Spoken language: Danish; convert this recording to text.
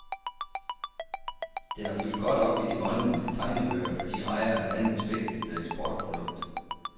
Det har fyldt godt op i de grønlandske tegnebøger, fordi rejer er landets vigtigste eksportprodukt.